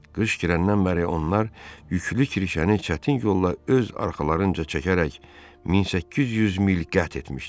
Qış girəndən bəri onlar yüklü kirşəni çətin yolla öz arxalarınca çəkərək 1800 mil qət etmişdilər.